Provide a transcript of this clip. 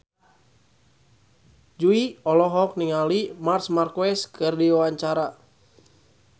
Jui olohok ningali Marc Marquez keur diwawancara